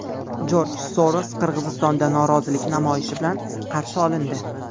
Jorj Soros Qirg‘izistonda norozilik namoyishi bilan qarshi olindi.